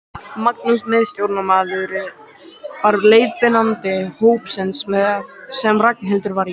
Magnús miðstjórnarmaður var leiðbeinandi hópsins sem Ragnhildur var í.